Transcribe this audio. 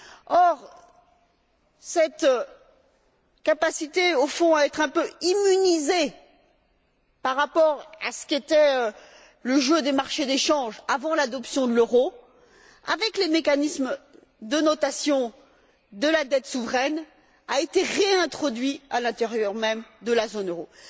Or, cette capacité, au fond, à être un peu immunisé par rapport à ce qu'était le jeu des marchés des changes avant l'adoption de l'euro, avec les mécanismes de notation de la dette souveraine, a été réintroduite à l'intérieur même de la zone euro.